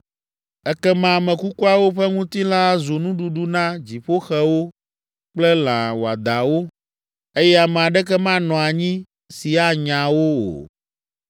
Ekema ame kukuawo ƒe ŋutilã azu nuɖuɖu na dziƒoxewo kple lã wɔadãwo, eye ame aɖeke manɔ anyi si anya wo o.